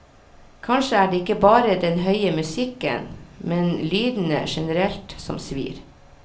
Kanskje er det ikke bare den høye musikken, men lydene generelt som svir.